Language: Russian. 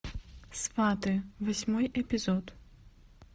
сваты восьмой эпизод